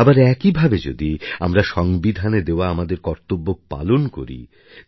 আবার একইভাবে যদি আমরা সংবিধানে দেওয়া আমাদের কর্তব্য পালন করি